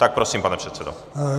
Tak prosím, pane předsedo.